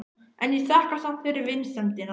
En ég þakka samt fyrir vinsemdina.